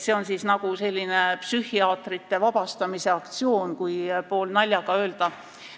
See on nagu psühhiaatrite vabastamise aktsioon, kui poolnaljaga öelda.